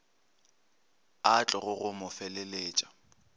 a tlogo go mo feleletša